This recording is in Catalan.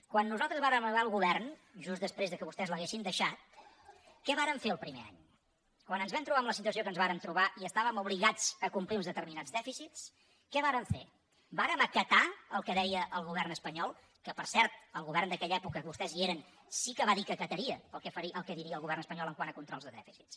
quan nosaltres vàrem arribar al govern just després que vostès l’haguessin deixat què vàrem fer el primer any quan ens vam trobar amb la situació que ens vàrem trobar i estàvem obligats a complir uns determinats dèficits què vàrem fer vàrem acatar el que deia el govern espanyol que per cert el govern d’aquella època que vostès hi eren sí que va dir que acataria el que digués el govern espanyol quant a controls de dèficits